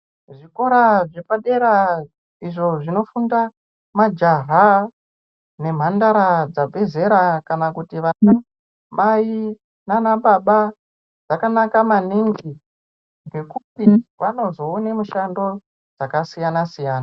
Zvikora zvepadera izvo zvinofunda majaha nemhandara dzabve zera kana kuti vana mai nanababa zvakanaka maningi ngekuti vanozoone mushando yakasiyana siyana.